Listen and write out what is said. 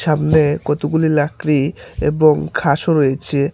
সামনে কতগুলি লাকড়ি এবং ঘাসও রয়েছে।